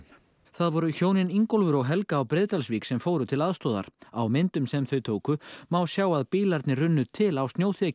það voru hjónin Ingólfur og Helga á Breiðdalsvík sem fóru til aðstoðar á myndum sem þau tóku má sjá að bílarnir runnu til á